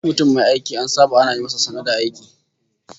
Duk mutum mai aiki an saba ana yi masa sannu da aiki